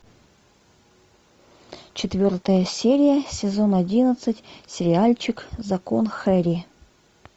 четвертая серия сезон одиннадцать сериальчик закон хэрри